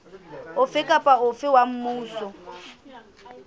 ofe kapa ofe wa mmuso